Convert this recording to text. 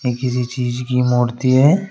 किसी चीज की मूर्ती हैं।